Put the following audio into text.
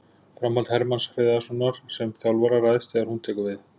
Framhald Hermanns Hreiðarssonar sem þjálfara ræðst þegar hún tekur við.